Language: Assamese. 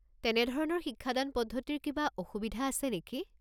তেনেধৰণৰ শিক্ষাদান পদ্ধতিৰ কিবা অসুবিধা আছে নেকি?